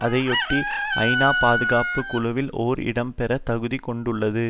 அதையொட்டி ஐநா பாதுகாப்பு குழுவில் ஒரு இடம் பெற தகுதி கொண்டுள்ளது